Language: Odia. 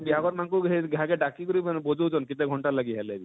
ବିହା ଘର ମାନକୁ ହେ ଘାଏକେ ଡାକି କରି ବଜଉଛନ କେତେ ଘଣ୍ଟାର ଲାଗି ହେଲେ ବି